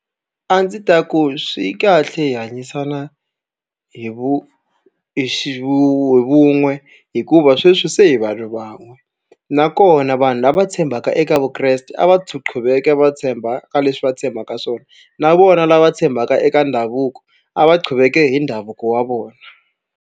A ndzi ta ku swi kahle hi hanyisana hi vu hi xi hi vun'we hikuva sweswi se hi vanhu van'we nakona vanhu lava tshembaka eka vukreste a va va tshemba ka leswi va tshembaka swona na vona lava tshembaka eka ndhavuko a va hi ndhavuko wa vona.